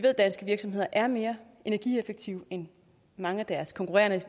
at danske virksomheder er mere energieffektive end mange af deres konkurrenter